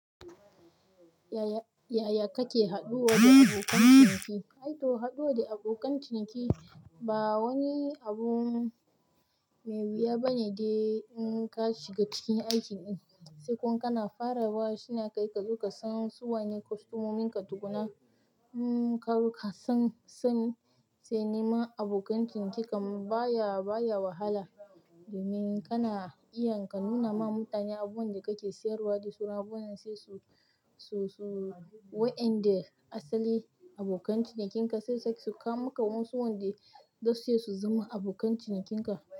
Yaya kake haɗuwa da abokan ciniki? Aito haɗuwa da abokan ciniki ba wani abun, mai wuya bane dai in ka shiga cikin aikin ɗin sai kuma kana farawa shi ne kai ka zo ka san su wane kwastamominka tukunna kar ka san sani sai neman abokan ciniki kam baya, baya wahala. Domin kana iyan ka nuna ma mutane abun da kake siyarwa da su na abun da su, su, su wa'inda asali abokan cinikin ka sai sak su ka muka musu wanda dasu su zama abokan cinikin ka.